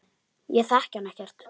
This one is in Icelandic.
Ég þekki hana ekkert.